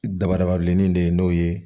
Dabadaba bilenni in de ye n'o ye